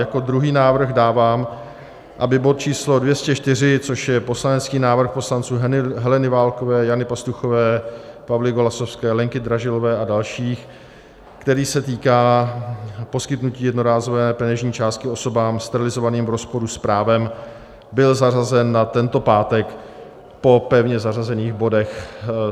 Jako druhý návrh dávám, aby bod č. 204, což je poslanecký návrh poslanců Heleny Válkové, Jany Pastuchové, Pavly Golasowské, Lenky Dražilové a dalších, který se týká poskytnutí jednorázové peněžní částky osobám sterilizovaným v rozporu s právem, byl zařazen na tento pátek po pevně zařazených bodech.